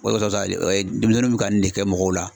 Wawalasa o ye denmisɛnninw bɛ ka nin de kɛ mɔgɔw la.